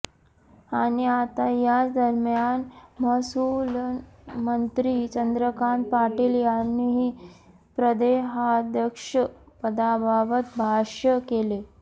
आणि आता याच दरम्यान महसूलमंत्री चंद्रकांत पाटील यांनीही प्रदेहाध्यक्ष पदाबाबत भाष्य केले